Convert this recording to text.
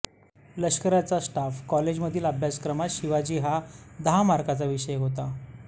लष्कराच्या स्टाफ कॉलेजमधील अभ्यासक्रमात शिवाजी हा दहा मार्काचा विषय होता